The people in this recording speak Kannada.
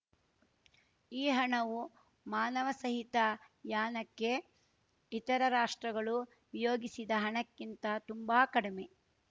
ಈ ಹಣವು ಮಾನವಸಹಿತ ಯಾನಕ್ಕೆ ಇತರ ರಾಷ್ಟ್ರಗಳು ವಿಯೋಗಿಸಿದ ಹಣಕ್ಕಿಂತ ತುಂಬಾ ಕಡಿಮೆ